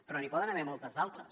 però n’hi poden haver moltes altres